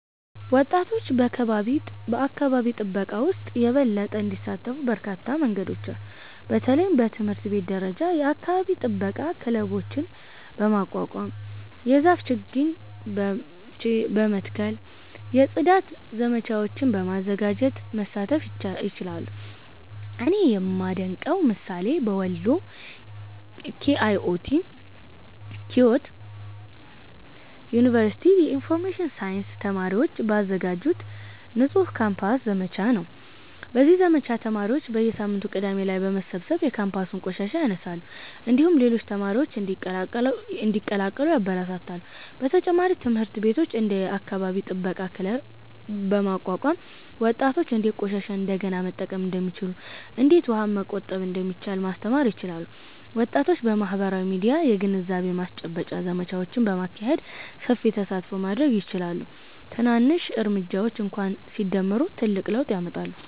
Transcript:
ወጣቶች በአካባቢ ጥበቃ ውስጥ የበለጠ እንዲሳተፉ በርካታ መንገዶች አሉ። በተለይም በትምህርት ቤት ደረጃ የአካባቢ ጥበቃ ክለቦችን በማቋቋም፣ የዛፍ ችግኝ በመትከል፣ የጽዳት ዘመቻዎችን በማዘጋጀት መሳተፍ ይችላሉ። እኔ የማደንቀው ምሳሌ በወሎ ኪዮት ዩኒቨርሲቲ የኢንፎርሜሽን ሳይንስ ተማሪዎች ባዘጋጁት “ንጹህ ካምፓስ” ዘመቻ ነው። በዚህ ዘመቻ ተማሪዎች በየሳምንቱ ቅዳሜ ላይ በመሰብሰብ የካምፓሱን ቆሻሻ ያነሳሉ፣ እንዲሁም ሌሎች ተማሪዎችን እንዲቀላቀሉ ያበረታታሉ። በተጨማሪም ትምህርት ቤቶች እንደ “የአካባቢ ጥበቃ ክለብ” በማቋቋም ወጣቶች እንዴት ቆሻሻን እንደገና መጠቀም እንደሚችሉ፣ እንዴት ውሃን መቆጠብ እንደሚቻል ማስተማር ይችላሉ። ወጣቶች በማህበራዊ ሚዲያም የግንዛቤ ማስጨበጫ ዘመቻዎችን በማካሄድ ሰፊ ተሳትፎ ማድረግ ይችላሉ። ትናንሽ እርምጃዎች እንኳ ሲደመሩ ትልቅ ለውጥ ያመጣሉ።